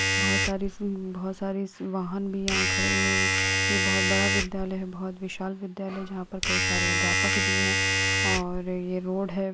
बहोत सारी स अम बहोत सारी वाहन भी यहाँ खड़े हुए है ये बहोत बड़ा विद्यालय है बहोत विशाल विद्यालय जहाँ पर कई सारे अध्यापक भी है और ये रोड है।